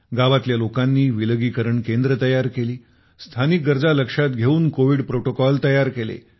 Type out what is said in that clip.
गावातल्या लोकांनी विलगीकरण केंद्रे तयार केली स्थानिक गरजा लक्षात घेऊन कोविड प्रोटोकॉल तयार केले